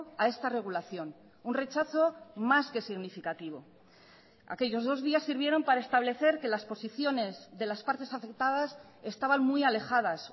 a esta regulación un rechazo más que significativo aquellos dos días sirvieron para establecer que las posiciones de las partes afectadas estaban muy alejadas